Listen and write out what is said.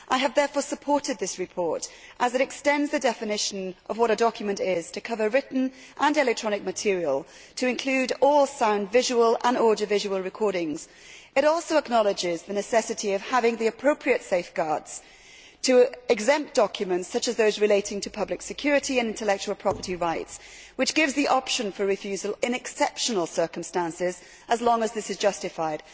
I have therefore supported this report as it extends the definition of what a document is to cover written and electronic material, and to include all sound, visual and audiovisual recordings. It also acknowledges the necessity of having the appropriate safeguards to exempt documents such as those relating to public security and intellectual property rights, which gives the option for refusal in exceptional circumstances as long as this is justified.